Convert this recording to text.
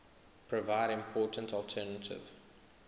provide important alternative